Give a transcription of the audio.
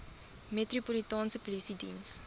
metropolitaanse polisie diens